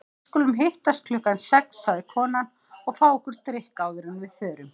Við skulum hittast klukkan sex, sagði konan, og fá okkur drykk áður en við förum.